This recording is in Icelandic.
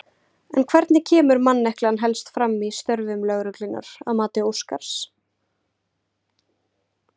En hvernig kemur manneklan helst fram í störfum lögreglunnar að mati Óskars?